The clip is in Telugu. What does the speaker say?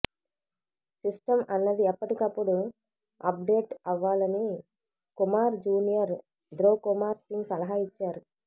సిస్టమ్ అన్నది ఎప్పటికప్పుడు అప్డేట్ అవ్వాలని కుమార్ జూనియర్ ధృవ్ కుమార్ సింగ్ సలహా ఇచ్చారు